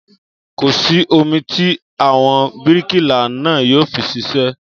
Kò sí omi tí àwọn bíríkìlà náà yóò fi ṣiṣẹ́